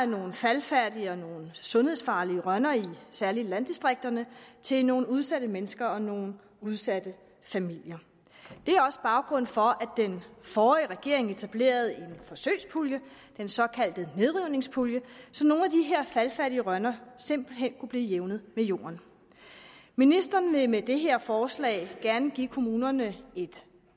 nogle faldefærdige og nogle sundhedsfarlige rønner særligt i landdistrikterne til nogle udsatte mennesker og nogle udsatte familier det er også baggrunden for den forrige regering etablerede en forsøgspulje den såkaldte nedrivningspulje så nogle af de her faldefærdige rønner simpelt hen kunne blive jævnet med jorden ministeren vil med det her forslag gerne give kommunerne et